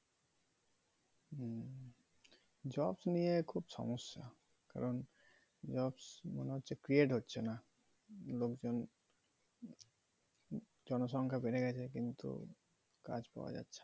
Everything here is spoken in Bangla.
jobs নিয়ে খুব সমস্যা কারণ jobs মনে হচ্ছে create হচ্ছে না লোকজন জনসংখ্যা বেড়ে গেছে কিন্তু কাজ পাওয়া যাচ্ছে না।